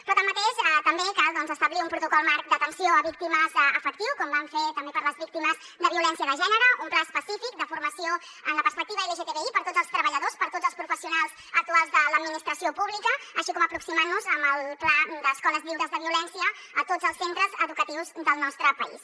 però tanmateix també cal doncs establir un protocol marc d’atenció a víctimes efectiu com vam fer també per a les víctimes de violència de gènere un pla específic de formació en la perspectiva lgtbi per a tots els treballadors per a tots els professionals actuals de l’administració pública així com aproximant nos amb el pla d’escoles lliures de violència a tots els centres educatius del nostre país